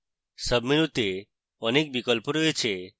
সাবমেনুতে অনেক বিকল্প রয়েছে